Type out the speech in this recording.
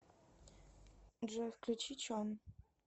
джой включи чон